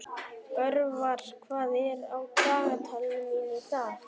Orvar, hvað er á dagatalinu mínu í dag?